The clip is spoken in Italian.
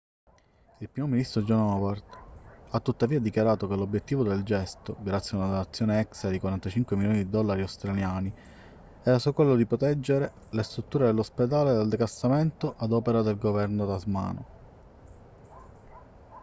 il primo ministro john howard ha tuttavia dichiarato che l'obiettivo del gesto grazie a una donazione extra di 45 milioni di dollari australiani era solo quello di proteggere le strutture dell'ospedale dal declassamento ad opera del governo tasmano